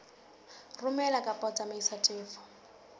romela kapa ho tsamaisa tefo